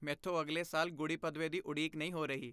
ਮੈਂਥੋਂ ਅਗਲੇ ਸਾਲ ਗੁੜੀ ਪਦਵੇ ਦੀ ਉਡੀਕ ਨਹੀਂ ਹੋ ਰਹੀ।